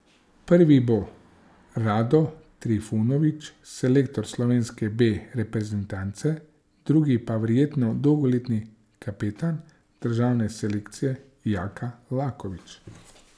Prvi bo Rado Trifunović, selektor slovenske B reprezentance, drugi pa verjetno dolgoletni kapetan državne selekcije Jaka Laković.